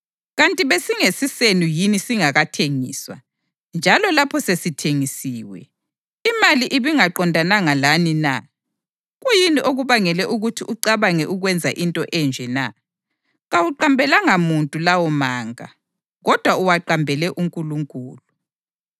Kanti besingesisenu yini singakathengiswa? Njalo lapho sesithengisiwe, imali ibingaqondananga lani na? Kuyini okubangele ukuthi ucabange ukwenza into enje na? Kawuqambelanga muntu lawo manga, kodwa uwaqambele uNkulunkulu.”